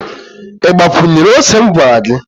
i gbakwunyere ose m gwara gi?